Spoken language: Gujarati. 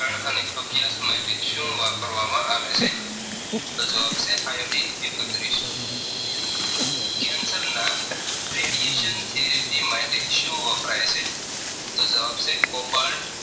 therapy માટે શું વપરાય છે. તો જવાબ છે Cobalt